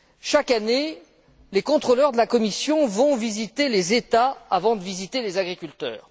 Chaque année, les contrôleurs de la Commission vont visiter les États avant de visiter les agriculteurs.